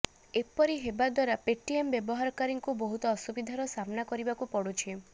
ଏପରି ହେବା ଦ୍ୱାରା ପେଟିଏମ୍ ବ୍ୟବହାରକାରୀଙ୍କୁ ବହୁତ ଅସୁବିଧାର ସାମ୍ନା କରିବାକୁ ପଡୁଛି